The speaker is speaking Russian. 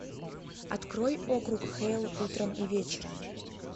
открой округ хейл утром и вечером